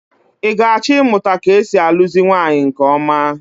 I ga-achọ ịmụta ka e si alụzi nwaanyị nke ọma?